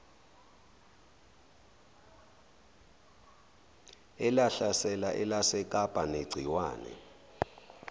elahlasela elasekapa negciwane